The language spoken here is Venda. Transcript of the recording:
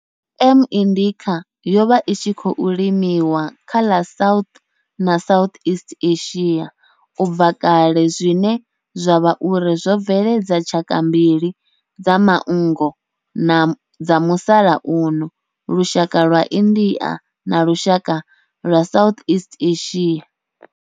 M. indica yo vha i tshi khou limiwa kha ḽa South na Southeast Asia ubva kale zwine zwa vha uri zwo bveledza tshaka mbili dza manngo dza musalauno, lushaka lwa India na lushaka lwa Southeast Asia.